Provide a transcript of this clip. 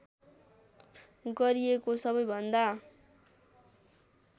गरिएको सबैभन्दा